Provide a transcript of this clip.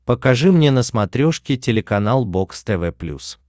покажи мне на смотрешке телеканал бокс тв плюс